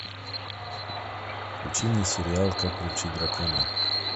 включи мне сериал как приручить дракона